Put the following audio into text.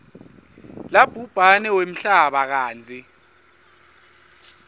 labhubhane wemhlaba kantsi